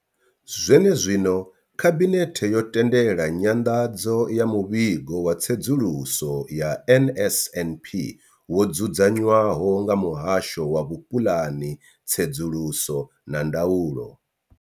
Zwenezwino, khabinethe yo tendela nyanḓadzo ya muvhigo wa tsedzuluso ya NSNP wo dzudzanywaho nga muhasho wa vhupuḽani, tsedzuluso na ndaulo.